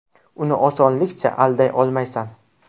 Uni osonlikcha alday olmaysan.